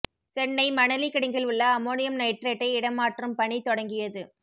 சென்னை மணலி கிடங்கில் உள்ள அம்மோனியம் நைட்ரேட்டை இடமாற்றும் பணி தொடங்கியது